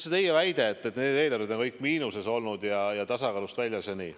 Te väitsite, et need eelarved on kõik olnud miinuses, tasakaalust väljas ja nii.